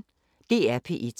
DR P1